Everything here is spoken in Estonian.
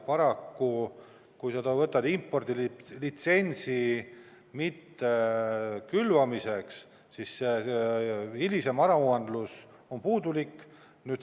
Paraku, kui sa võtad impordilitsentsi mitte külvamiseks, siis hilisem aruandlus on puudulik.